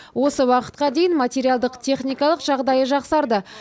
осы уақытқа дейін материалдық техникалық жағдайы жақсарды